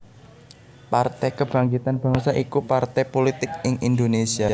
Partai Kebangkitan Bangsa iku partai pulitik ing Indonésia